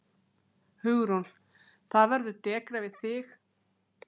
Hugrún: Það verður dekrað við þig?